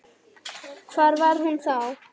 Hvar var hún þá?